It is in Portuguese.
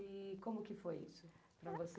E como que foi isso para você?